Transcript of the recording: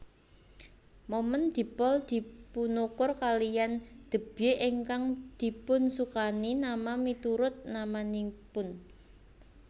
Momen dipol dipunukur kaliyan debye ingkang dipunsukani nama miturut namanipun